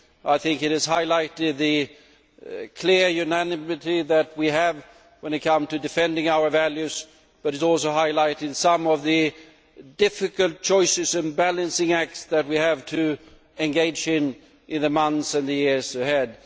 I think it has highlighted the clear unanimity that we have when it comes to defending our values, but it has also highlighted some of the difficult choices and balancing acts that we have to engage in in the months and years ahead.